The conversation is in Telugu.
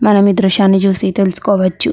మనం ఈ దృశ్యాన్ని చూసి తెలుసుకోవచ్చు.